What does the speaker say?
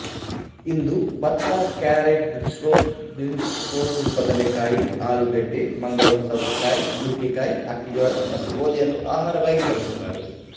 ಇಂದು ಭತ್ತಕ್ಯಾರೆಟ್ಬೀಟ್ರೋಟ್ಬೀನ್ಸ್ಕೋಸುಬದನೆ ಕಾಯಿಆಲೂಗೆಡ್ಡೆ ಮಂಗಲೂರು ಸೌತೆಕಾಯಿ ನುಗ್ಗೆಕಾಯಿಅಕ್ಕಿಜೋಳ ಮತ್ತು ಗೋದಿಯನ್ನು ಆಹಾರವಾಗಿ ಬಳಸುತ್ತಾರೆ